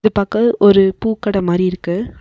இது பாக்க ஒரு பூக்கட மாரி இருக்கு அந்--